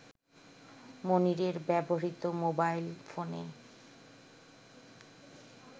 মনিরের ব্যবহৃত মোবাইল ফোনে